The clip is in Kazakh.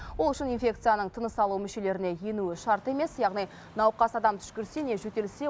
ол үшін инфекцияның тыныс алу мүшелеріне енуі шарт емес яғни науқас адам түшкірсе не жөтелсе